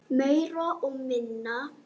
Meira og minna.